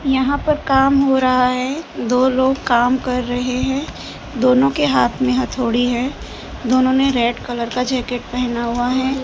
यहां पर काम हो रहा है दो लोग काम कर रहे हैं दोनों के हाथ में हथौड़ी है दोनों ने रेड कलर का जैकेट पहना हुआ है।